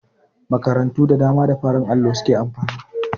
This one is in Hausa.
Makarantu da dama da farin allo su ke amfani.